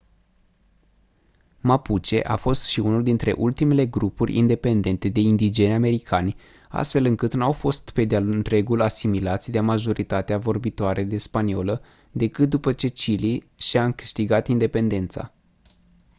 mapuche a fost și unul dintre ultimele grupuri independente de indigeni americani astfel încât n-au fost pe de-a întregul asimilați de majoritatea vorbitoare de spaniolă decât după ce chile și-a câștigat independența